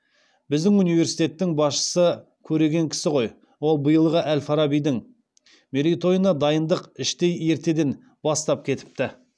біздің университеттің басшысы көреген кісі ғой ол биылғы әл фарабидің мерейтойына дайындық іштей ертеден бастап кетіпті